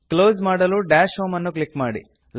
close ಮಾಡಲು dash home ಅನ್ನು click ಮಾಡಿ